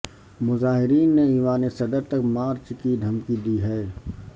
مظاہرین نے ایوان صدر تک مارچ کی دھمکی دی ہے